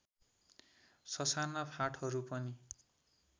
ससाना फाँटहरू पनि